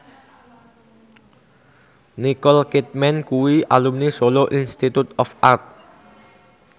Nicole Kidman kuwi alumni Solo Institute of Art